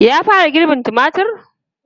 Ya fara girbin tumatir?